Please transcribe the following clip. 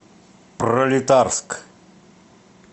пролетарск